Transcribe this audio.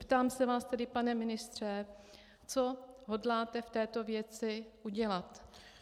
Ptám se vás tedy, pane ministře, co hodláte v této věci udělat.